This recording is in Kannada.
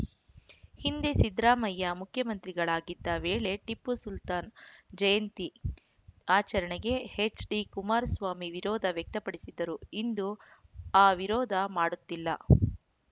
ಹಿಂದೆ ಸಿದ್ದರಾಮಯ್ಯ ಮುಖ್ಯಮಂತ್ರಿಗಳಾಗಿದ್ದ ವೇಳೆ ಟಿಪ್ಪು ಸುಲ್ತಾನ್ ಜಯಂತಿ ಆಚರಣೆಗೆ ಎಚ್‌ಡಿಕುಮಾರಸ್ವಾಮಿ ವಿರೋಧ ವ್ಯಕ್ತಪಡಿಸಿದ್ದರು ಇಂದು ಆ ವಿರೋಧ ಮಾಡುತ್ತಿಲ್ಲ